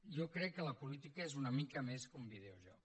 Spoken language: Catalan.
jo crec que la política és una mica més que un videojoc